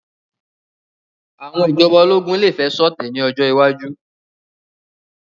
Àwọn ìjọba ológun lè fẹ́ ṣọ̀tẹ̀ ní ọjọ́ iwájú